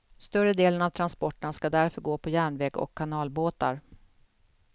Större delen av transporterna ska därför gå på järnväg och kanalbåtar.